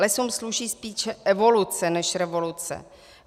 Lesům sluší spíše evoluce než revoluce.